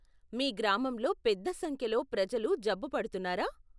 మీ గ్రామంలో పెద్ద సంఖ్యలో ప్రజలు జబ్బు పడుతున్నారా?